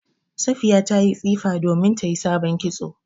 Safiya ta yi tsifa domin ta yi sabon kitso